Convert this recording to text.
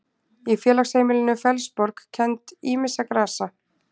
Í félagsheimilinu Fellsborg kenndi ýmissa grasa.